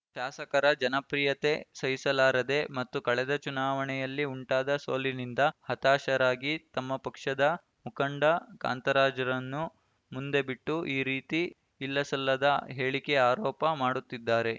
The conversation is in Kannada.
ಶಾಸಕರ ಜನಪ್ರಿಯತೆ ಸಹಿಸಲಾರದೆ ಮತ್ತು ಕಳೆದ ಚುನಾವಣೆಯಲ್ಲಿ ಉಂಟಾದ ಸೋಲಿನಿಂದ ಹತಾಶರಾಗಿ ತಮ್ಮ ಪಕ್ಷದ ಮುಖಂಡ ಕಾಂತರಾಜ್‌ರನ್ನು ಮುಂದೆ ಬಿಟ್ಟು ಈ ರೀತಿ ಇಲ್ಲಸಲ್ಲದ ಹೇಳಿಕೆ ಆರೋಪ ಮಾಡುತ್ತಿದ್ದಾರೆ